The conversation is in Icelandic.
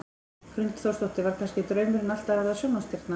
Hrund Þórsdóttir: Var kannski draumurinn alltaf að verða sjónvarpsstjarna?